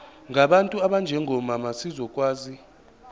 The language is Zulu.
ngabantu abanjengomama zizokwazi